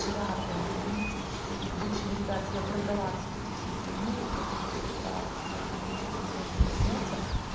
вчера прямо заметила сильно в общем ребята я продала всё-таки всю свою мебель которую собиралась вот у меня сейчас ремонт начнётся